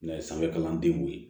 N'a ye sanfɛ kalandenw ye